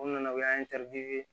O nana o y'an